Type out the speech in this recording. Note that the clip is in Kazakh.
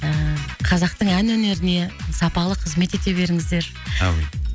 ыыы қазақтың ән өнеріне сапалы қызмет ете беріңіздер әумин